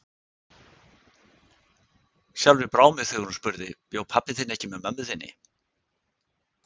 Sjálfri brá mér þegar hún spurði: Bjó pabbi þinn ekki með mömmu þinni?